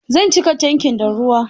Zan cika tankin da ruwa.